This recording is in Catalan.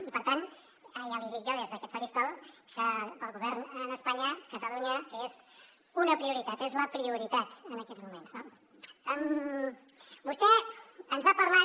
i per tant ja li dic jo des d’aquest faristol que per al govern d’espanya catalunya és una prioritat és la prioritatmoments no vostè ens ha parlat